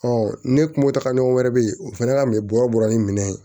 ne kun me taaga ɲɔgɔn wɛrɛ be yen o fɛnɛ ka minɛ bɔrɔ bɔra ni minɛn ye